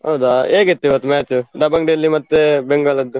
ಹೌದಾ ಹೇಗಿತ್ತು ಇವತ್ತು match, Dabang Delhi ಮತ್ತೆ Bengal?